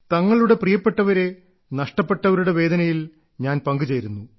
തങ്ങളുടെ പ്രിയപ്പെട്ടവരെ നഷ്ടപ്പെട്ടവരുടെ വേദനയിൽ ഞാൻ പങ്കുചേരുന്നു